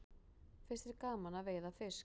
Finnst þér gaman að veiða fisk?